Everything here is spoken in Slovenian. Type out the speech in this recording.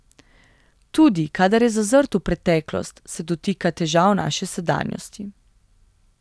Tudi kadar je zazrt v preteklost, se dotika težav naše sedanjosti.